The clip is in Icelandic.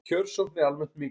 Kjörsókn er almennt mikil